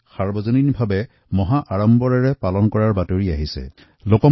যেতিয়া গণেশ চতুৰ্থীৰ কথা উত্থাপন হৈছে ইয়াৰ লগতে সাৰ্বজনীন গণেশ উৎসৱৰ প্ৰসংগও স্বাভাৱিকতে আহিব